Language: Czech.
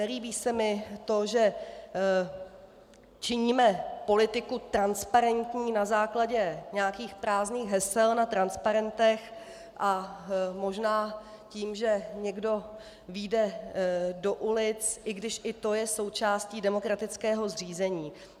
Nelíbí se mi to, že činíme politiku transparentní na základě nějakých prázdných hesel na transparentech a možná tím, že někdo vyjde do ulic, i když i to je součástí demokratického zřízení.